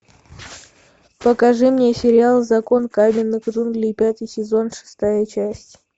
покажи мне сериал закон каменных джунглей пятый сезон шестая часть